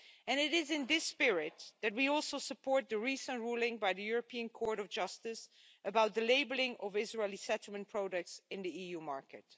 It is in this spirit that we also support the recent ruling by the European Court of Justice about the labelling of Israeli settlement products in the EU market.